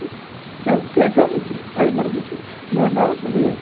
Eu fiquei com o Fernando